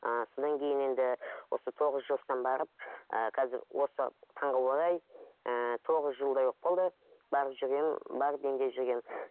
ыыы содан кейін енді осы тоғыз жастан барып ыыы қазір осы таңға орай ыыы тоғыз жылдай болып қалды барып жүргенім барып емделіп жүргенім